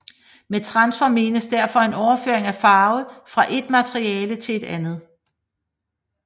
Med transfer menes derfor en overføring af farve fra et materiale til et andet